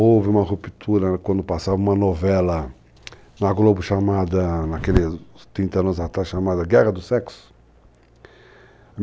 Houve uma ruptura quando passava uma novela na Globo chamada, naqueles 30 anos atrás, chamada Guerra do Sexo.